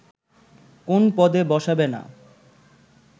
কোন পদে বসাবে না